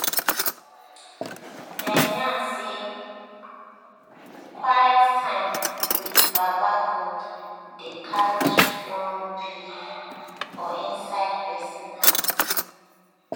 dem yarn say quite time with baba god dey carry strong belive for inside person heart.